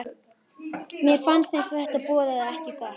Mér fannst eins og þetta boðaði ekki gott.